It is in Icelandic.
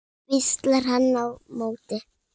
hvíslar hann á móti.